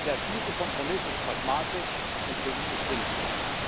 Der erzielte Kompromiss ist pragmatisch und politisch sinnvoll.